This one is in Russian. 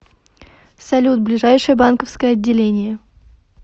салют ближайшее банковское отделение